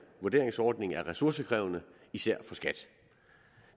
vurderingsordning er ressourcekrævende især for skat